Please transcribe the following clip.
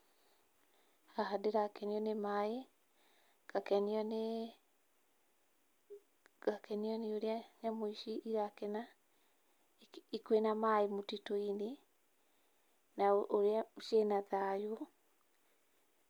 Haha ndĩrakenio nĩ maĩ, ngakenio nĩ, ngakenio nĩ ũrĩa nyamũ ici irakena kwĩna maĩ mũtitũ-inĩ na ũrĩa ciĩna thayũ.